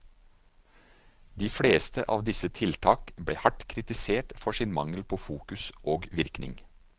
De fleste av disse tiltak ble hardt kritisert for sin mangel på fokus og virkning.